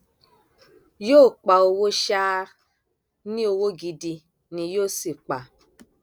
yóò pa owó ṣáá ní owó gidi ni yóò sì pa